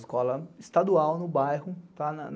Escola estadual no bairro, tá?